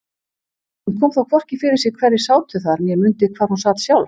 Hún kom þó hvorki fyrir sig hverjir sátu þar né mundi hvar hún sat sjálf.